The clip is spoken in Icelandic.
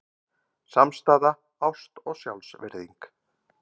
Samstaða, ást og sjálfsvirðing.